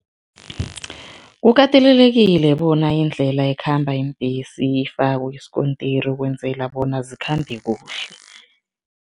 Kukatelelekile bona indlela ekhamba iimbhesi ifakwe isikontiri ukwenzela bona zikhambe kuhle.